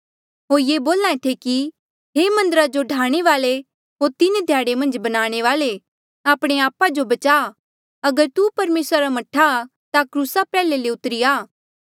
होर ये बोल्हा थे कि हे मन्दरा जो ढाणे वाल्ऐ होर तीन ध्याड़े मन्झ बनाणे वाल्ऐ आपणे आपा जो बचा अगर तू परमेसरा रा मह्ठा आ ता क्रूसा प्रयाल्हे ले उतरी जा